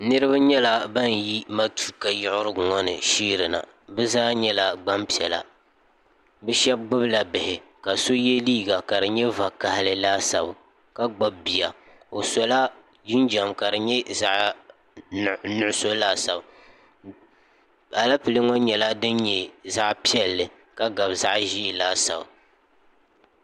niraba nyɛla ban yi maruuka yiɣirigu ŋo ni sheeri na bi zaa nyɛla gbanpiɛla bi shab gbubila bihi ka so yɛ liiga ka di nyɛ vakaɣali laasabu ka gbubi bia o sola jinjɛm ka di nyɛ zaɣ nuɣso laasabu alɛpilɛ ŋo nyɛla din nyɛ zaɣ piɛlli ka gabi zaɣ ʒiɛ laasabu